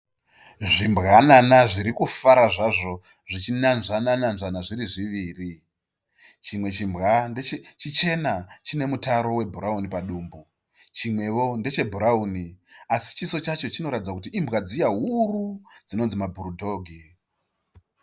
Zvimbwanana zvirikufara zvazvo zvichinanzvana nanzvana zviri zviviri . Chimwe chimbwa chichena chiine mutaro webhurauni padumbu, chimwewo ndechebhurauni, asi chiso chacho chinoratidza kuti imbwa dziya huru dzinononzi mabhuru dhogi.